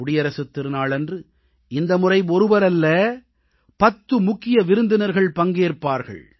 குடியரசுத் திருநாளன்று இந்த முறை ஒருவரல்ல பத்து முக்கிய விருந்தினர்கள் பங்கேற்பார்கள்